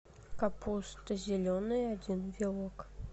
капуста зеленая один вилок